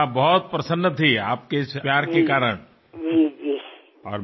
మీరు చూపిన ఈ అభిమానానికి అమ్మ చాలా ఆనందించింది